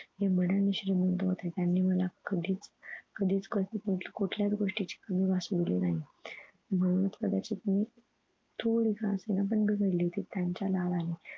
घडण श्रीमंत होते त्यांनी मला कधीच अह कधीच कशाची कुठल्या गोष्टीची कमी भासू दिली नाही म्हणून कदाचित मी थोडी का असेना पण मी बिघडलेली त्यांच्या लाडाने